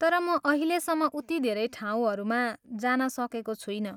तर म अहिलेसम्म उति धेरै ठाउँहरूमा जान सकेको छुइनँ।